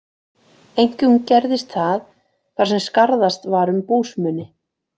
Einkum gerðist það, þar sem skarðast var um búsmuni.